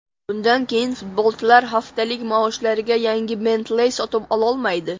Bundan keyin futbolchilar haftalik maoshlariga yangi Bentley sotib ololmaydi.